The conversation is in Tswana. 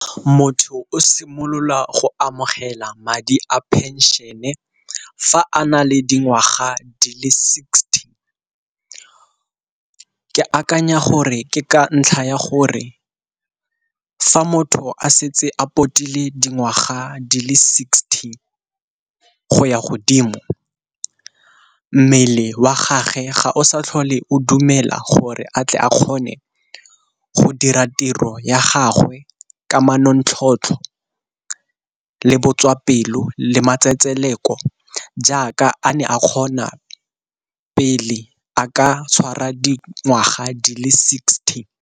Motho o simolola go amogela madi a pension-e fa a na le dingwaga di le sixty. Ke akanya gore ke ka ntlha ya gore fa motho a setse a potile dingwaga di le sixty go ya godimo, mmele wa gage ga o sa tlhole o dumela gore a tle a kgone go dira tiro ya gagwe ka manontlhotlho le botswapelo le matsetseleko jaaka a ne a kgona pele a ka tshwara dingwaga di le sixty.